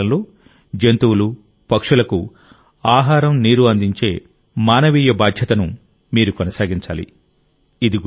ఈ వేసవి కాలంలో జంతువులు పక్షులకు ఆహారం నీరు అందించే మానవీయ బాధ్యతను మీరు కొనసాగించాలి